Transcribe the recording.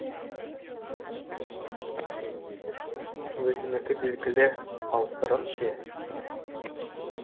өзінікі белгілі ал сырым ше